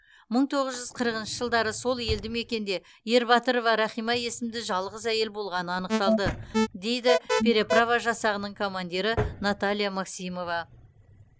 мың тоғыз жүз қырқыншы жылдары сол елді мекенде ербатырова рахима есімді жалғыз әйел болғаны анықталды дейді переправа жасағының командирі наталья максимова